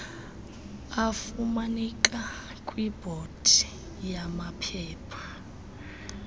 afumaneka kwibhodi yamaphepha